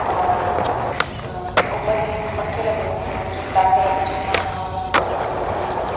और आं उस ऊपर ही एक पंख लगे हुए हैं जो ब्लैक कलर के छपरा बना हुआ है उसके ऊपर पंख लगे हुए हैं जो की--